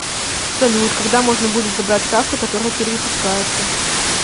салют когда можно будет забрать карту которая перевыпускается